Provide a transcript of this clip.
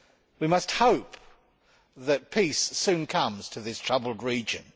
We must hope that peace soon comes to this troubled region.